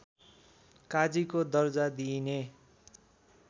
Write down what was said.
काजीको दर्जा दिइने